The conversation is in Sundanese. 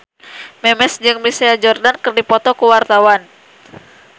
Memes jeung Michael Jordan keur dipoto ku wartawan